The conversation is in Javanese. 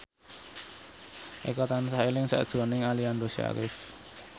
Eko tansah eling sakjroning Aliando Syarif